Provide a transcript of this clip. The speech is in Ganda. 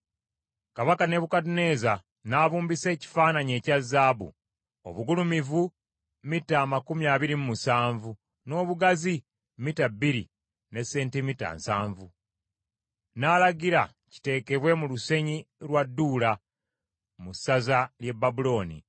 Kabaka Nebukadduneeza n’abumbisa ekifaananyi ekya zaabu, obugulumivu mita amakumi abiri mu musanvu n’obugazi mita bbiri ne sentimita nsanvu, n’alagira kiteekebwe mu lusenyi lwa Dduula, mu ssaza ly’e Babulooni.